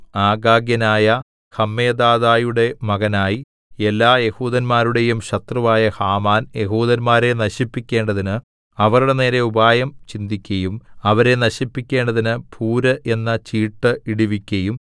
ആഗാഗ്യനായ ഹമ്മെദാഥയുടെ മകനായി എല്ലാ യെഹൂദന്മാരുടെയും ശത്രുവായ ഹാമാൻ യെഹൂദന്മാരെ നശിപ്പിക്കേണ്ടതിന് അവരുടെ നേരെ ഉപായം ചിന്തിക്കയും അവരെ നശിപ്പിക്കേണ്ടതിന് പൂര് എന്ന ചീട്ടു ഇടുവിക്കയും